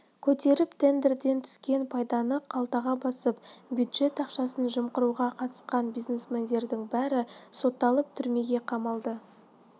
көтеріп тендерден түскен пайданы қалтаға басыпты бюджет ақшасын жымқыруға қатысқан бизнесмендердің бәрі сотталып түрмеге қамалды